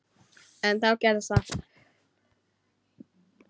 En þá gerðist það.